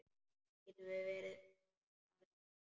Getum við farið núna?